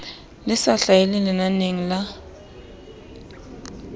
le sa hlahelle lenaneng la